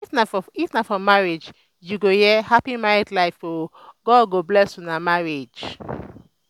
if na for marriage you go hear "hapi married life o god go bless una marriage"